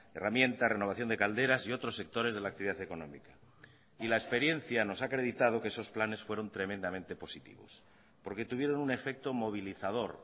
herramienta renovación de calderas y otros sectores de la actividad económica y la experiencia nos ha acreditado que esos planes fueron tremendamente positivos porque tuvieron un efecto movilizador